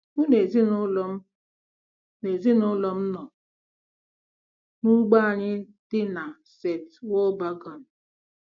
Mụ na ezinụlọ m na ezinụlọ m nọ n'ugbo anyị dị na St. Walburgen